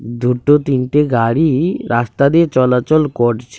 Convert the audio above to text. দুটো তিনটে গাড়ি রাস্তা দিয়ে চলাচল করছে।